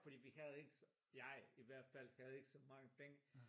Fordi vi havde ikke så jeg i hvert fald havde ikke så mange penge